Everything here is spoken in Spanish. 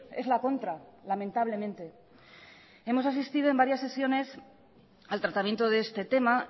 es la contra lamentablemente hemos asistido en varias sesiones al tratamiento de este tema